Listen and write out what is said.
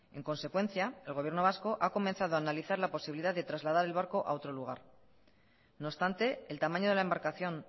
en consecuencia el gobierno vasco ha comenzado a analizar la posibilidad de trasladar el barco a otro lugar no obstante el tamaño de la embarcación